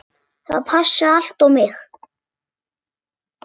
Það passaði allt á mig.